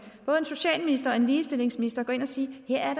socialminister og en ligestillingsminister at gå ind og sige her er